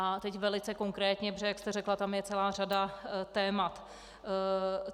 A teď velice konkrétně, protože jak jste řekla, tam je celá řada témat.